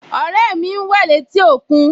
Ọ̀rẹ́ mi ń wẹ̀ létí òkún